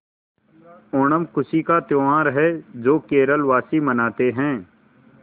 ओणम खुशी का त्यौहार है जो केरल वासी मनाते हैं